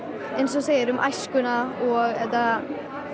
eins og þú segir um æskuna og þetta